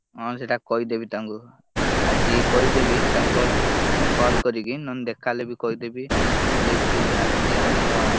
ହଁ, ସେଇଟା କହିଦେବି ତାଙ୍କୁ ଆଜି କହିଦେବି ତାଙ୍କୁ call, call କରିକି ନହେଲେ ଦେଖା ହେଲେ ବି କହିଦେବି। lift ଗୋଟେ ଆସିଛି ଆମର